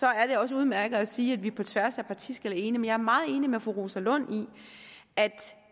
er det også udmærket at sige det på tværs af partiskel er enige jeg er meget enig med fru rosa lund i at